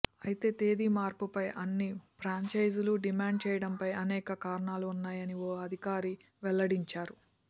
అయితే తేది మార్పుపై అన్ని ఫ్రాంచైజీలు డిమాండ్ చేయడంపై అనేక కారణాలు ఉన్నాయని ఓ అధికారి వెల్లడించారు